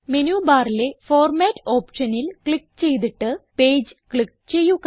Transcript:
menu ബാറിലെ format ഓപ്ഷനിൽ click ചെയ്തിട്ട് പേജ് ക്ലിക്ക് ചെയ്യുക